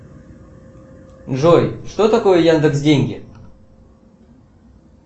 джой что такое яндекс деньги